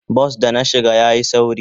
Bas da na shiga yayi sauri.